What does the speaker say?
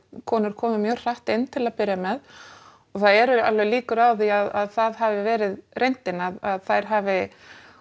konur komu mjög hratt inn til að byrja með og það eru alveg líkur á því að það hafi verið reyndin að þær hafi